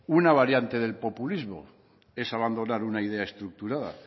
una variante del populismo es abandonar una idea estructurada